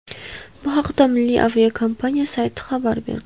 Bu haqda milliy aviakompaniya sayti xabar berdi .